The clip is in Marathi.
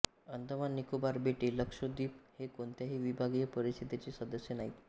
अंदमान निकोबार बेटे लक्षद्वीप हे कोणत्याही विभागीय परिषदेचे सदस्य नाहीत